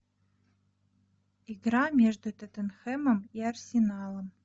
игра между тоттенхэмом и арсеналом